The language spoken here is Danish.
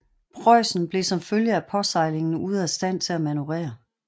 Preußen blev som følge af påsejlingen ude af stand til at manøvrere